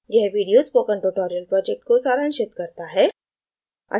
यह video spoken tutorial project को सारांशित करता है